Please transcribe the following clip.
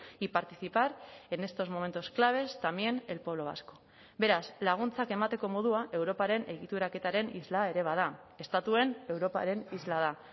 y participar en estos momentos claves también el pueblo vasco beraz laguntzak emateko modua europaren egituraketaren isla ere bada estatuen europaren isla da